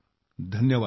धन्यवाद